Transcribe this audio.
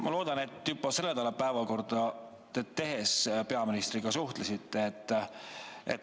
Ma loodan, et te juba selle nädala päevakorda tehes peaministriga suhtlesite.